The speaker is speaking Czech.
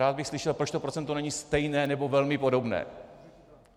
Rád bych slyšel, proč to procento není stejné nebo velmi podobné.